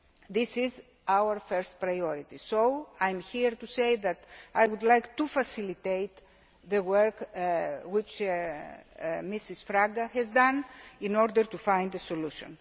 This is our first priority, so I am here to say that I would like to facilitate the work which Mrs Fraga has done in order to find a solution.